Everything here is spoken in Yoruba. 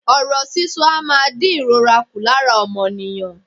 Ọ̀rọ̀ sísọ a máa dín ìrora ku lára ọmọnìyàn.